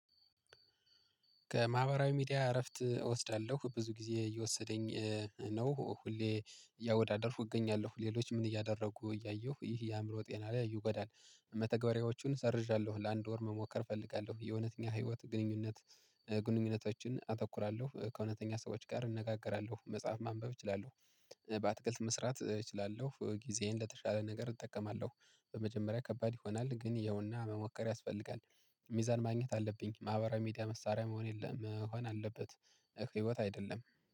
ከማህበራዊ ሚዲያ እረፍት እወስዳለሁ ብዙ ጊዜ እየወሰደኝ ነው ሁሌ ያወዳደርኩ እገኛለሁ ሌሎች ምን እያደረጉ እያየሁ ይሄ የአእምሮ ጤና ላይ ይጎዳል። መተግበሪያዎቹን ሰርዣለሁ ለአንድ ወር መሞከር እፈልጋለሁ። የእውነተኛ ህይወት ግንኙነት። ግንኙነቶችን አተኩራለሁ ከእውነተኛ ሰዎች ጋር እንነጋገራለሁ መጽሐፍ ማንበብ እችላለሁ። በአትክልት መስራት እችላለሁ ጊዜዬን ለተሻለ ነገር እጠቀማለሁ። በመጀመሪያ ከባድ ይሆናል ግን ያውና መሞከር ያስፈልጋል። ሚዛን ማግኘት አለብኝ ማህበራዊ ሚዲያ መሳሪያ መሆን የለም መሆን አለበት። ህይወት አይደለም